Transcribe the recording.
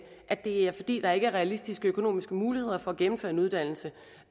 at det er fordi der ikke er realistiske økonomiske muligheder for at gennemføre en uddannelse